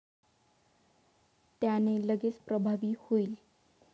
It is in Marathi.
त्याने लगेच प्रभावी होईल.